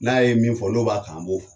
N'a ye min fɔ n'o b'a kan an bɔ fɔ